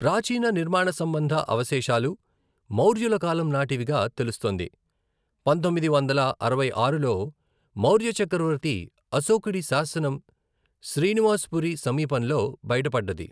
ప్రాచీన నిర్మాణసంబంధ అవశేషాలు మౌర్యుల కాలం నాటివిగా తెలుస్తోంది, పంతొమ్మిది వందల అరవై ఆరులో, మౌర్య చక్రవర్తి అశోకుడి శాసనం శ్రీనివాస్పురి సమీపంలో బయటపడ్డది.